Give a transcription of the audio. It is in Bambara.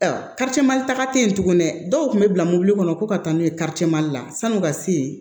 Ayiwa mali taga te yen tuguni dɛ dɔw kun be bila mɔbili kɔnɔ ko ka taa n'u ye cɛ mali la san'u ka se yen